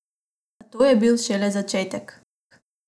A to je bil šele začetek!